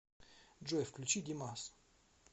джой включи димас